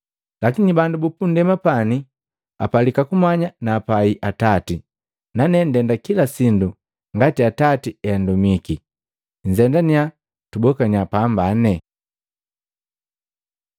lakini bandu bupundema pani apalika kumanya naapai Atati, nane ndenda kila sindu ngati Atati heandumiki.” Nzemaniya tubokaniya pambane!